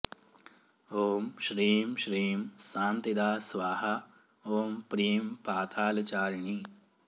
ॐ श्रीं श्रीं सान्तिदा स्वाहा ॐ प्रीं पातालचारिणी